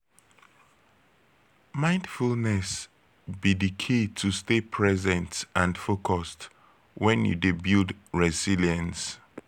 you fit talk about di role of mindfulness to take building resilience?